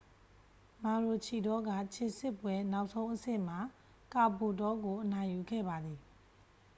မာရိုချီဒေါက ခြေစစ်ပွဲ နောက်ဆုံးအဆင့်မှာ ကာဘိုလ်တောကို အနိုင်ယူခဲ့ပါတယ်